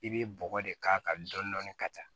I bɛ bɔgɔ de k'a kan dɔɔnin dɔɔnin ka taa